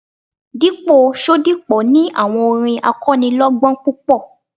Dípò Ṣodipo ni àwọn orin akọ́nilọ́gbọ́n púpọ̀.